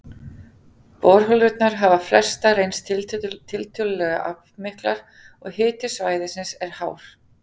Borholurnar hafa flestar reynst tiltölulega aflmiklar, og hiti svæðisins er hár.